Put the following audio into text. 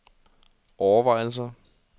overvejelser